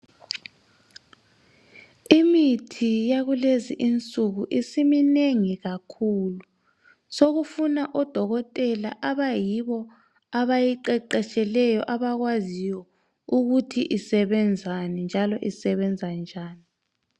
Imithi yakulezi insuku isiminengi kakhulu sokufuna odokotela abayibo abayiqeqetsheleyo abakwaziyo ukuthi isebenzani njalo isebenza njani.